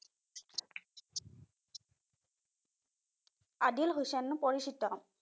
আদিল হুছেইন পৰিচিত।